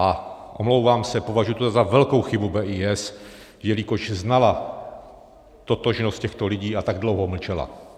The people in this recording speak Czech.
A omlouvám se, považuji to za velkou chybu BIS, jelikož znala totožnost těchto lidí a tak dlouho mlčela.